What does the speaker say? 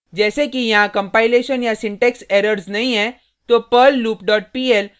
जैसे कि यहाँ कंपाइलेशन या सिंटेक्स एरर्स नहीं है तो perl loop dot pl